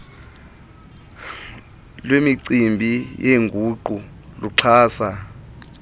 lwemicimbi yenguqu luxhasa